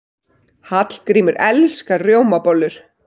Hallgrímur elskar rjómabollur.